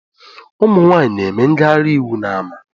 Ụmụnwaanyị na-eme ngaghari iwu n’ama